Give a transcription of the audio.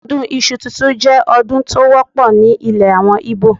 Ọdún Iṣu tuntun jẹ́ ọdún tó wọ́pọ̀ ní ilè àwọn Ìgbò.